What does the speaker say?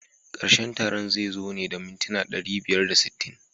Karshen taron zai zo ne da mintuna ɗari biyar da sittin.